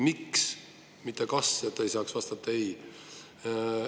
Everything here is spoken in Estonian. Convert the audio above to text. "Miks", mitte "kas", et te ei saaks vastata "ei".